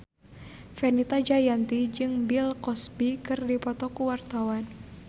Fenita Jayanti jeung Bill Cosby keur dipoto ku wartawan